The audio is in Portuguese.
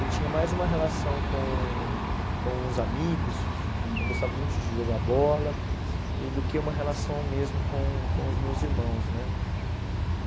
Eu tinha mais uma relação com com os amigos, eu gostava muito de jogar bola, e do que uma relação mesmo com com os meus irmãos, né?